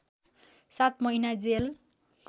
सात महिना जेल